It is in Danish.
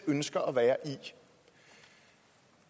ønsker at være i